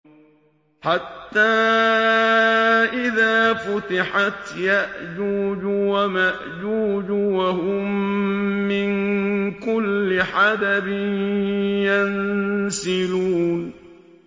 حَتَّىٰ إِذَا فُتِحَتْ يَأْجُوجُ وَمَأْجُوجُ وَهُم مِّن كُلِّ حَدَبٍ يَنسِلُونَ